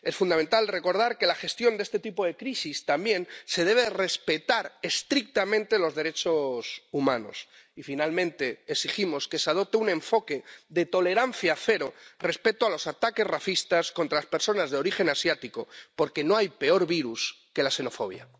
Es fundamental recordar que en la gestión de este tipo de crisis también se deben respetar estrictamente los derechos humanos. Y, finalmente, exigimos que se adopte un enfoque de tolerancia cero respecto a los ataques racistas contra las personas de origen asiático, porque no hay peor virus que la xenofobia.